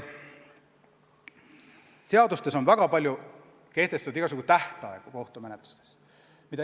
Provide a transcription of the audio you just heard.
Seadustes on väga palju kehtestatud igasugu kohtumenetluste tähtaegu.